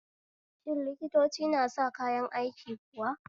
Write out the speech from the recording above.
Shin likitoci na sa kayan aiki kuwa?